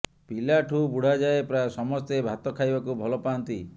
ପିଲାଠୁ ବୁଢ଼ା ଯାଏ ପ୍ରାୟ ସମସ୍ତେ ଭାତ ଖାଇବାକୁ ଭଲ ପାଆନ୍ତି